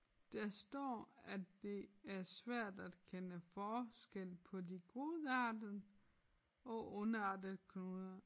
Der står at det er svært at kende forskel på de godartede og ondartede knuder